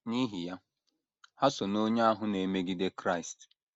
N’ihi ya, ha so n’onye ahụ na - emegide Kraịst.